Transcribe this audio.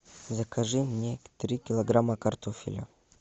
закажи мне три килограмма картофеля